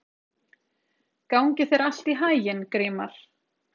Gangi þér allt í haginn, Grímar.